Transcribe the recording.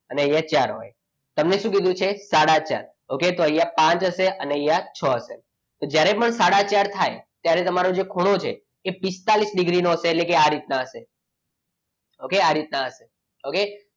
અને અહીંયા ચાર હોય તમને શું કીધું છે સાડા ચાર okay તો અહીંયા પાંચ હશે અને અહીંયા છ છે તો જ્યારે પણ સાડા ચાર થાય ત્યારે તમારો જે ખૂણો છે એ પિસ્તાળીસ ડિગ્રીનું હશે એટલે કે આ રીતના હશે okay આ રીતના હશે okay